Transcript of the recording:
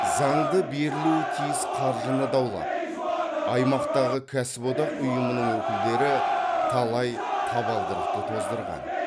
заңды берілуі тиіс қаржыны даулап аймақтағы кәсіподақ ұйымының өкілдері талай табалдырықты тоздырған